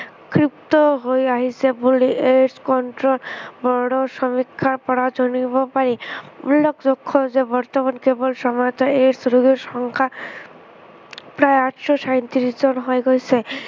ক্ষীপ্ৰ হৈ আহিছে বুলি AIDS control board ৰ সমীক্ষাৰ পৰা জানিব পাৰি। উল্লেখযোগ্য় যে বৰ্তমান কেৱল AIDS ৰোগীৰ সংখ্য়া প্ৰায় আঠশ ছয়ত্ৰিশ জন হৈ গৈছে